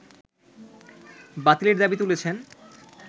বাতিলের দাবি তুলেছেন